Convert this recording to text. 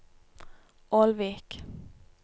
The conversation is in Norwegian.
Ålvik